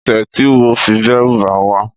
Ẽṣe ti iwọ fi dẹruba wa?